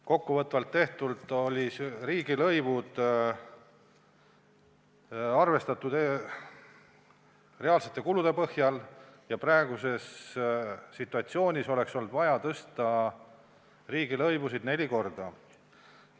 Kokkuvõtvalt olid riigilõivud arvestatud reaalsete kulude põhjal ja praeguses situatsioonis oleks olnud vaja riigilõivusid neli korda tõsta.